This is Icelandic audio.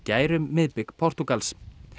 gær um miðbik Portúgals